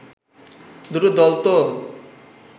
দুটো দল তো